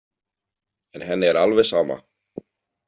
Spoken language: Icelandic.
En henni er alveg sama.